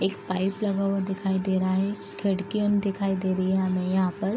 एक पाइप लगा हुआ दिखाई दे रहा है खिड़की अन दिखाई दे रही है हमें यहाँ पर।